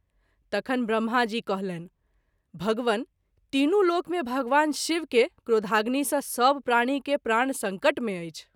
तखन ब्रम्हा जी कहलनि:- भगवन ! तीनू लोक मे भगवान शिव के क्रोधाग्नि सँ सभ प्राणि के प्राण संकट मे अछि।